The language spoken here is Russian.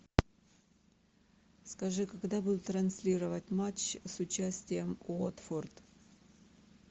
скажи когда будут транслировать матч с участием уотфорд